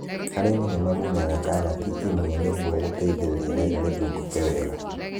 Arĩmi nĩmamunyaga karati imwe nĩgwo gũteithia rĩera rithiũngũke wega.